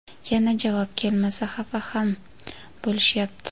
yana javob kelmasa xafa ham bo‘lishyapti.